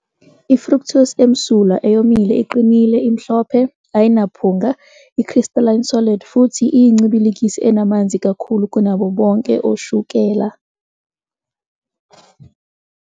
I-fructose emsulwa, eyomile iqinile, imhlophe, ayinaphunga, i-crystalline solid, futhi iyincibilikisi enamanzi kakhulu kunabo bonke ushukela.